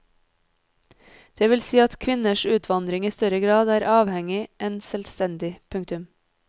Det vil si at kvinners utvandring i større grad er avhengig enn selvstendig. punktum